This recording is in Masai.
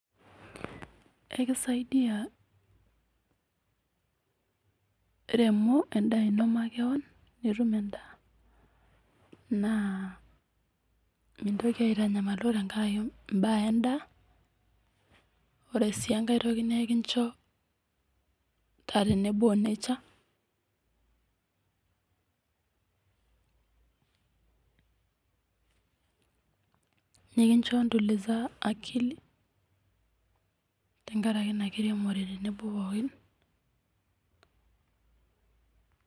ekisaidia eremore endaa eno makeon naa mintoki aitanyamaluo tenkaraki mbaa endaa ore sii enkae toki naa ekinjoo taa tenebo onature nikinjo ntulixa akili tenkaraki ena kiremore pookin